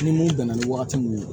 Ni mun bɛnna ni wagati munnu ye